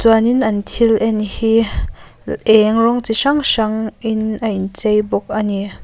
chuanin an thil en hi eng rawng chi hrang hrang in a in chei bawk a ni.